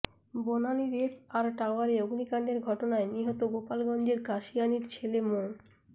বনানীর F R টাওয়ারে অগ্নিকাণ্ডের ঘটনায় নিহত গোপালগঞ্জের কাশিয়ানীর ছেলে মো